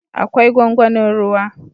Akwai gwangwanin ruwa